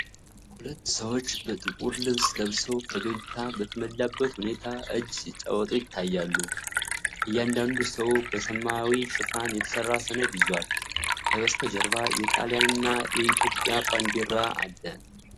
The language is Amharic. ሁለት ሰዎች ጥቁር ልብስ ለብሰው፣ ፈገግታ በተሞላበት ሁኔታ እጅ ሲጨባበጡ ይታያሉ። እያንዳንዱ ሰው በሰማያዊ ሽፋን የተሰራ ሰነድ ይዟል። ከበስተጀርባ የጣሊያንና የኢትዮጵያ ባንዲራ አለ።